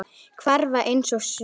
Hverfa einsog gufa.